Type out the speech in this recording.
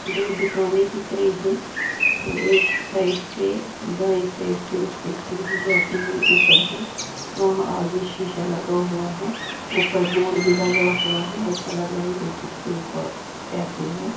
दो दुकानें दिख रही हैं तो एक साइड पे दाएं साइड पे उसपे सीढ़ी जाती हुई ऊपर है वहां आगे शीशा लगा हुआ है ऊपर बोर्ड भी लगा हुआ है ऐसा लग रहा है जैसे कोई कॉ कैफे है।